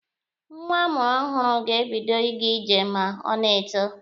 Nwa a mụrụ ọhụrụ ga-ebido ịga ije ma o na-eto.